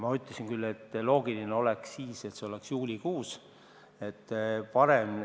Ma ütlesin küll, et loogiline oleks sel juhul, et see oleks juulikuus.